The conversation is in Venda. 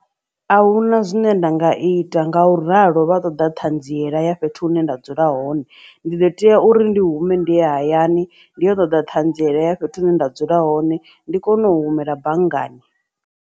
Ahuna zwine nda nga ita nga u ralo vha ṱoḓa ṱhanziela ya fhethu hune nda dzula hone ndi ḓo tea uri ndi hume ndi ye hayani ndi yo ṱoḓa ṱhanziela ya fhethu hune nda dzula hone ndi kone u humela banngani.